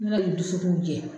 dusukun jɛ.